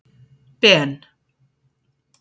Ben